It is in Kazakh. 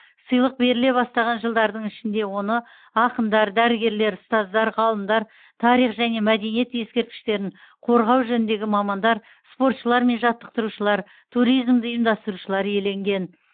сыйлық беріле бастаған жылдардың ішінде оны ақындар дәрігерлер ұстаздар ғалымдар тарих және мәдениет ескерткіштерін қорғау жөніндегі мамандар спортшылар мен жаттықтырушылар туризмді ұйымдастырушылар иеленген